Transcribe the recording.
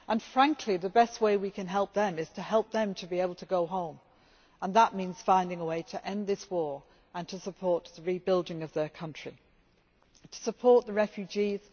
Frankly, the best way we can help them is to help them to be able to go home, and that means finding a way to end this war, to support the rebuilding of their country and to support the refugees.